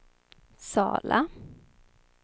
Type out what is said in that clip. Sala